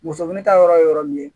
Muso fini ta yɔrɔ ye yɔrɔ min ye